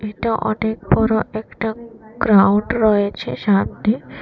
এটা অনেক বড় একটা গ্রাউন্ড রয়েছে সামনে।